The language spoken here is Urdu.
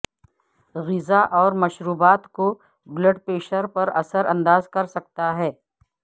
غذا اور مشروبات کو بلڈ پریشر پر اثر انداز کر سکتا ہے